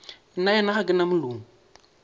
nnaena ga ke na molomo